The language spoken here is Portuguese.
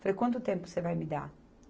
Falei, quanto tempo você vai me dar?